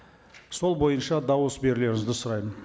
сол бойынша дауыс берулеріңізді сұраймын